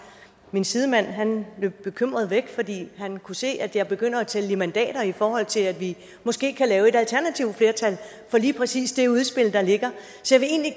min sidemand løb bekymret væk fordi han kunne se at jeg begynder at tælle i mandater i forhold til at vi måske kan lave et alternativt flertal for lige præcis det udspil der ligger så